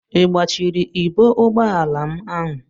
I kpọchiri ibo ụgbọala m ahụ?